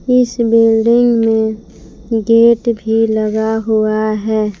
इस बिल्डिंग में गेट भी लगा हुआ है।